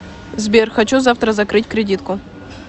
сбер хочу завтра закрыть кредитку